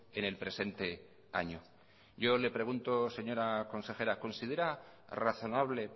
en el presente año yo le pregunto señora consejera considera razonable